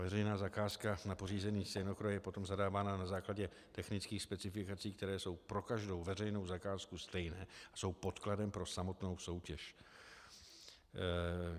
Veřejná zakázka na pořízení stejnokroje je potom zadávána na základě technických specifikací, které jsou pro každou veřejnou zakázku stejné a jsou podkladem pro samotnou soutěž.